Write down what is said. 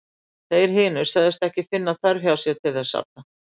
Þeir hinir sögðust ekki finna þörf hjá sér til þess arna.